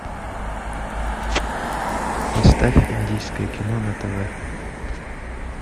поставь индийское кино на тв